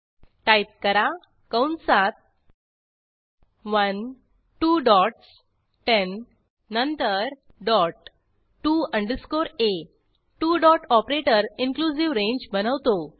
type करा कंसात 1 two dots 10 then dot to underscore a two dot operator inclusive range बनवतो